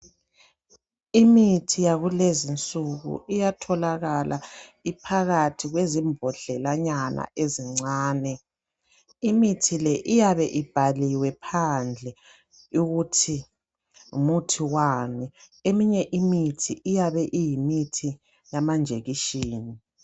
Imithi yakulezi nsuku iyatholakala iphakathi kwezimbodlelanyana ezincane. Imithi le iyabe ibhaliwe phandle ukuthi ngu muthi wani. Eminye imithi iyabe iyimithi yamanjekishini.